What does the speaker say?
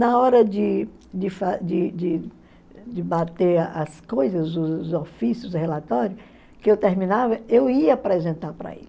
Na hora de de fa de de de bater as coisas, os ofícios, relatórios, que eu terminava, eu ia apresentar para ele.